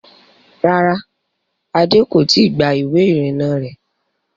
Rárá, Adé kò i tí gba ìwé ìrìnnà rẹ̀